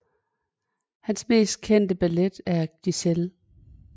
Hans mest kendte ballet er Giselle